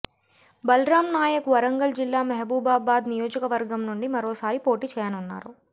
బలరాం నాయక్ వరంగల్ జిల్లా మహబూబాబాద్ నియోజకవర్గం నుండి మరోసారి పోటీ చేయానున్నారు